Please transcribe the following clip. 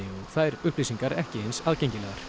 þær upplýsingar ekki eins aðgengilegar